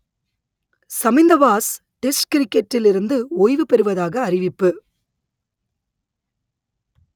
Chaminda Vaas test கிரிக்கெட்டில் இருந்து ஓய்வு பெறுவதாக அறிவிப்பு